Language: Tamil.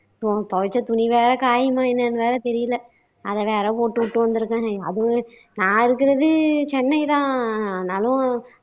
துவச்ச துணி வேற காயுமா என்னன்னு வேற தெரியல, அதை வேற போட்டுட்டு வந்துருக்கேன். அதுவும் நான் இருக்குறது சென்னை தான்னாலும்,